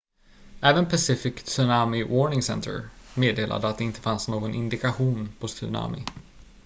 även pacific tsunami warning center meddelade att det inte fanns någon indikation på tsunami